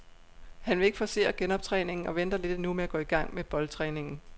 Han vil ikke forcere genoptræningen og venter lidt endnu med at gå i gang med boldtræningen.